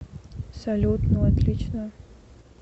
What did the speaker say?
салют ну отлично